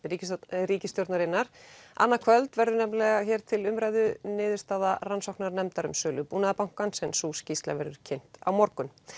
ríkisstjórnarinnar annað kvöld verður hér til umræðu niðurstaða rannsóknarnefndar um sölu Búnaðarbankans en sú skýrsla verður kynnt á morgun